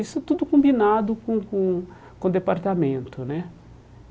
Isso tudo combinado com com com o departamento né.